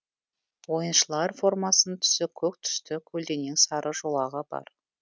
ойыншылар формасының түсі көк түсті көлденең сары жолағы бар